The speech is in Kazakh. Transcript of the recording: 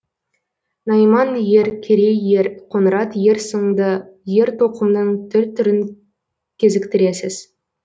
найман ер керей ер қоңырат ер сынды ер тоқымның түр түрін кезіктіресіз